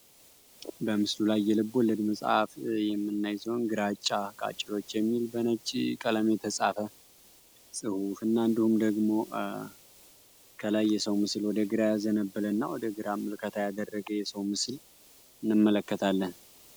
በምስሉ ላይ የልቦለድ መፅሀፍ የምናይ ሲሆን ግራጫ ቃጭሎች የሚል በነጭ ቀለም የተፃፈ ፅሁፍ እና እንዲሁም ደግሞ ከላይ የሰው ምስል ወደ ግራ ያዘነበለ እና ወደግራም ምልከታ ያደረገ የሰው ምስል እንመለከታለን።